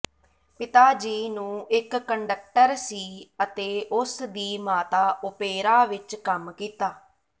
ਪਿਤਾ ਜੀ ਨੂੰ ਇਕ ਕੰਡਕਟਰ ਸੀ ਅਤੇ ਉਸ ਦੀ ਮਾਤਾ ਓਪੇਰਾ ਵਿਚ ਕੰਮ ਕੀਤਾ